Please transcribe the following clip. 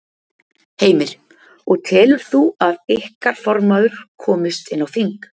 Heimir: Og telur þú að ykkar formaður komist inn á þing?